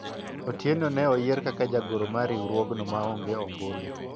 Otieno ne oyier kaka jagoro mar riwruogno maonge ombulu